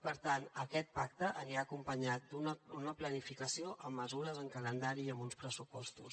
per tant aquest pacte anirà acompanyat d’una planificació amb mesures amb calendari i amb uns pressupostos